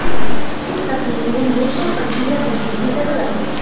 इस तकनीक में हमेशा पड़ती है बिजली की जरूरत